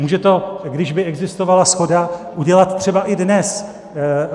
Může to, když by existovala shoda, udělat třeba i dnes.